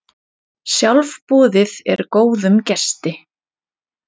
Sjálfboðið er góðum gesti.